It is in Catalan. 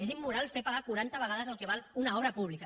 és immoral fer pagar quaranta vegades el que val una obra pública